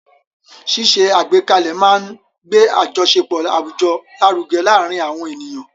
Ṣíṣe àgbékalẹ̀ máa ń gbé àjọṣepọ̀ àwùjọ lárugẹ láàárín àwọn ènìyàn.